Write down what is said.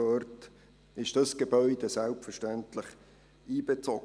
Dieses Gebäude wird selbstverständlich einbezogen.